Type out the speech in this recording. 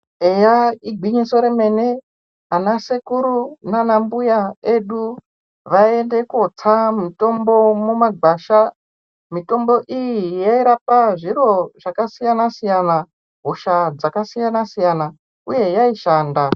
Eya igwinyiso remene anasekuru nanambuya edu vayiende kotsa mitombo mumagwasha mitombo iyi yairapa zviro zvakasiyana siyana hosha dzakasiyana siyana uye yaishanda.